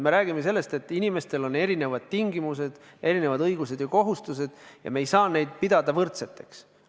Me räägime sellest, et inimestel on erinevad tingimused, erinevad õigused ja kohustused ja me ei saa neid pidada võrdseteks.